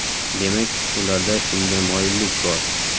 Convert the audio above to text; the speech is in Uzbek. Demak, ularda shunga moyillik bor.